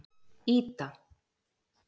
Ída